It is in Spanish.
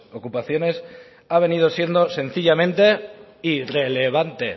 ocupaciones ha venido siendo sencillamente irrelevante